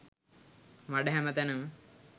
මඩ හැම තැනම.